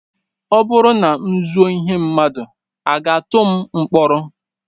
Ọ bụrụ na m zuo ihe mmadụ, a ga-atụ m mkpọrọ?